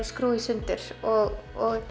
skrúfum í sundur og